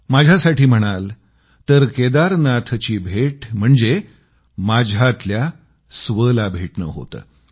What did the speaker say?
माझ्यासाठी म्हणाल तर केदारनाथची भेट म्हणजे माझ्यातल्या स्वला भेटणं होतं